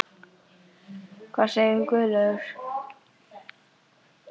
Hvað segir Guðlaugur?